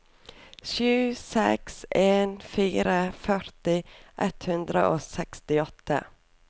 sju seks en fire førti ett hundre og sekstiåtte